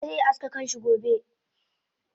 Chike ze aske kanshi gobe